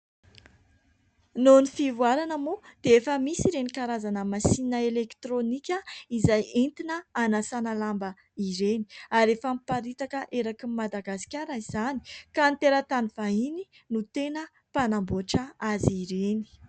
Noho ny fivoarana moa dia efa misy ireny karazana masinina elektrônika izay entina anasana lamba ireny. Ary efa miparitaka eraka an'i Madagasikara izany ka ny teratany vahiny no teny mpanamboatra azy ireny.